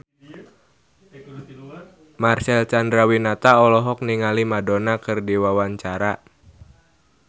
Marcel Chandrawinata olohok ningali Madonna keur diwawancara